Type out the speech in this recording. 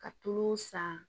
Ka tulu san